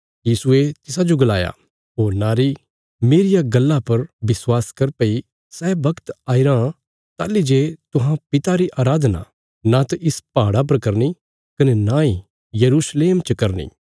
यीशुये तिसाजो गलाया ओ नारी मेरिया गल्ला पर विश्वास कर भई सै बगत आईरां ताहली जे तुहां पिता री अराधना नांत इस पहाड़ा पर करनी कने नांई यरूशलेम च करनी